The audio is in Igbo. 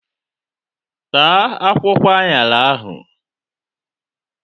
Taa akwụkwọ aṅara ahụ!